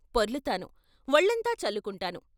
పొర్లుతాను వొళ్ళంతా చల్లుకుంటాను.